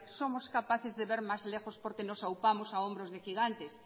somos capaces de ver más lejos porque nos aupamos a hombros de gigantes